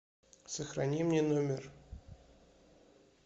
сохрани мне номер